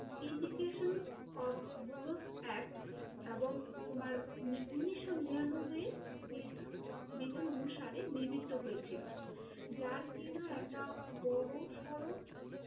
Indication of google's act এবং তোমার ঊনিশশো নিরান্নব্বইয়ে বিধান অনুসারে নির্মিত হয়েছিল, যার কি না একটা বড়ো সরো